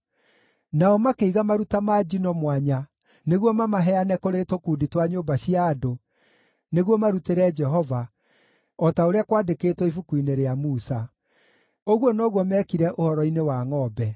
Nao makĩiga maruta ma njino mwanya nĩguo mamaheane kũrĩ tũkundi twa nyũmba cia andũ, nĩguo marutĩre Jehova, o ta ũrĩa kwandĩkĩtwo Ibuku-inĩ rĩa Musa. Ũguo noguo meekire ũhoro-inĩ wa ngʼombe.